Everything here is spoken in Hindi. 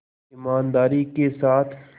ईमानदारी के साथ